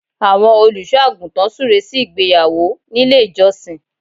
Àwọn Olùṣọ́ àgùntàn súre sí ìgbéyàwó nílé ìjọsìn